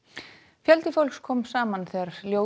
fjöldi fólks kom saman þegar